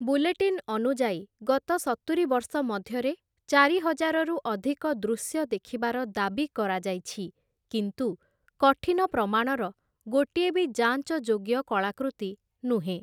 Bulletin ଅନୁଯାୟୀ, ଗତ ସତୁରି ବର୍ଷ ମଧ୍ୟରେ ଚାରି ହଜାରରୁ ଅଧିକ ଦୃଶ୍ୟ ଦେଖିବାର ଦାବି କରାଯାଇଛି, କିନ୍ତୁ କଠିନ ପ୍ରମାଣର ଗୋଟିଏ ବି ଯାଞ୍ଚଯୋଗ୍ୟ କଳାକୃତି ନୁହେଁ ।